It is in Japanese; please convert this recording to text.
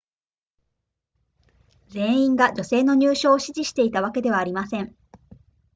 全員が女性の入賞を支持していたわけではありません